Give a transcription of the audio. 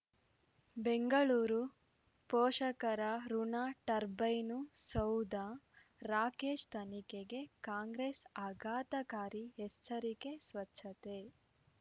ಬೆಂಗಳೂರು ಪೋಷಕರಋಣ ಟರ್ಬೈನು ಸೌಧ ರಾಕೇಶ್ ತನಿಖೆಗೆ ಕಾಂಗ್ರೆಸ್ ಆಘಾತಕಾರಿ ಎಚ್ಚರಿಕೆ ಸ್ವಚ್ಛತೆ